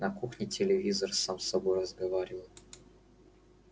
на кухне телевизор сам с собой разговаривал